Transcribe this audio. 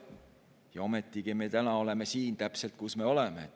Ja ometigi me täna oleme täpselt siin, kus me oleme.